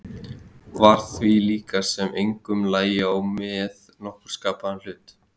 Var því líkast sem engum lægi á með nokkurn skapaðan hlut.